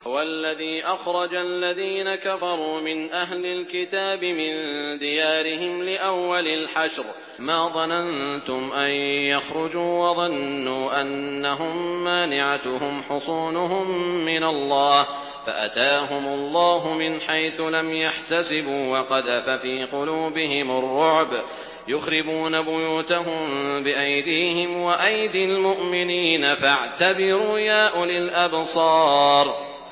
هُوَ الَّذِي أَخْرَجَ الَّذِينَ كَفَرُوا مِنْ أَهْلِ الْكِتَابِ مِن دِيَارِهِمْ لِأَوَّلِ الْحَشْرِ ۚ مَا ظَنَنتُمْ أَن يَخْرُجُوا ۖ وَظَنُّوا أَنَّهُم مَّانِعَتُهُمْ حُصُونُهُم مِّنَ اللَّهِ فَأَتَاهُمُ اللَّهُ مِنْ حَيْثُ لَمْ يَحْتَسِبُوا ۖ وَقَذَفَ فِي قُلُوبِهِمُ الرُّعْبَ ۚ يُخْرِبُونَ بُيُوتَهُم بِأَيْدِيهِمْ وَأَيْدِي الْمُؤْمِنِينَ فَاعْتَبِرُوا يَا أُولِي الْأَبْصَارِ